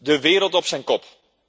De wereld op zijn kop.